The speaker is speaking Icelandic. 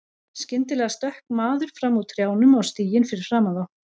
Skyndilega stökk maður fram úr trjánum á stíginn fyrir framan þá.